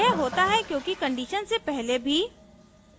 यह होता है क्योंकि condition से पहले भी